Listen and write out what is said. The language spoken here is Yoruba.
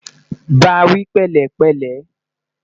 bá wí pẹlẹ pele